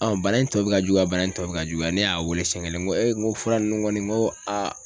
bana in tɔ bi ka juguya bana in tɔ bi ka juguya ne y'a wele seɲɛ kelen n ko e n ko fura ninnu kɔni ko a.